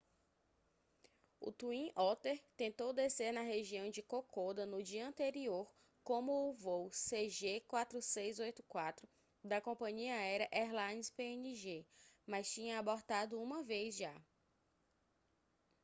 o twin otter tentou descer na região de kokoda no dia anterior como o voo cg4684 da compania aérea airlines png mas tinha abortado uma vez já